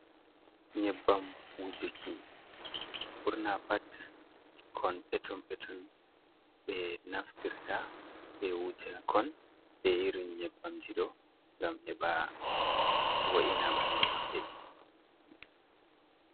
Nyebbam wujuki ɓurna pat kon peton-peton ɓe naftirta ɓe wujakon be irin nyebbam jiɗo ngam heɓa vo’ina ɓandu maɓɓe.